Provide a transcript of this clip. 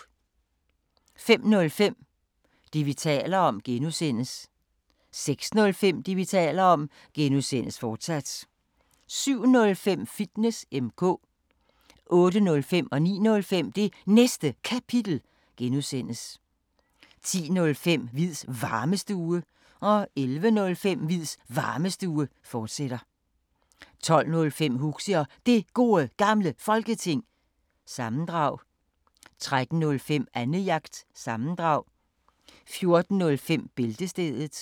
05:05: Det, vi taler om (G) 06:05: Det, vi taler om (G), fortsat 07:05: Fitness M/K 08:05: Det Næste Kapitel (G) 09:05: Det Næste Kapitel (G) 10:05: Hviids Varmestue 11:05: Hviids Varmestue, fortsat 12:05: Huxi og Det Gode Gamle Folketing, sammendrag 13:05: Annejagt – sammendrag 14:05: Bæltestedet